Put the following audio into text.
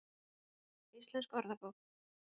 Heimildir: Íslensk orðabók.